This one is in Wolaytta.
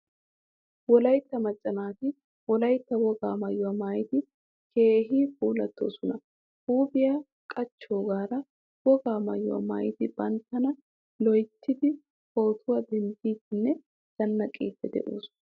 Wolaytta macca naati wolaytta wogaa maayuwaa maayidi keehin puulatoosona. Huuphphiyaa qaccogaara wogaa maayuwaa maayidi banttana loyttidi pootuwaa denddidinne zannaqqidi deosona.